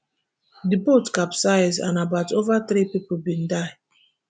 di boat capsize and about ova three pipo bin die